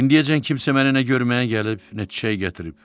İndiyəcən kimsə məni nə görməyə gəlib, nə çiçək gətirib.